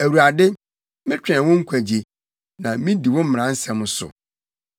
Awurade, metwɛn wo nkwagye, na midi wo mmara nsɛm so.